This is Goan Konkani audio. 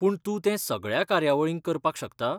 पूण तूं तें सगळ्या कार्यावळींक करपाक शकता?